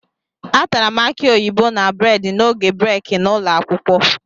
Atara m akị oyibo na bredị n'oge breeki n'ụlọ akwụkwọ